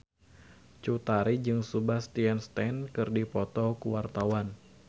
Cut Tari jeung Sebastian Stan keur dipoto ku wartawan